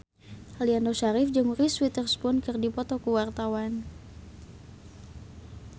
Aliando Syarif jeung Reese Witherspoon keur dipoto ku wartawan